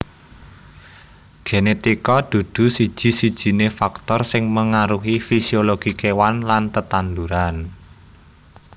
Genetika dudu siji sijiné faktor sing mengaruhi fisiologi kéwan lan tetanduran